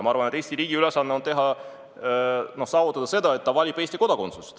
Ma arvan, et Eesti riigi ülesanne on saavutada see, et laps valib Eesti kodakondsuse.